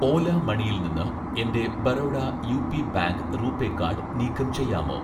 ഓല മണിയിൽ നിന്ന് എൻ്റെ Baroda UP bank RuPay card നീക്കം ചെയ്യാമോ